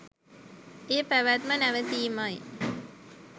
ඒ පැවැත්ම නැවතීමයි.